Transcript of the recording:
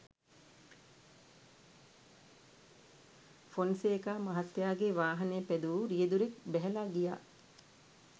ෆොන්සේකා මහත්තයාගේ වාහනය පැදවූ රියැදුරු ක් බැහැලා ගියා.